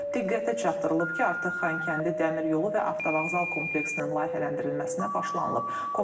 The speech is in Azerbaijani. Diqqətə çatdırılıb ki, artıq Xankəndi Dəmir Yolu və Avtovağzal kompleksinin layihələndirilməsinə başlanılıb.